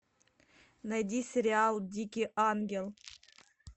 найди сериал дикий ангел